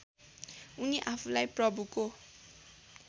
उनी आफूलाई प्रभुको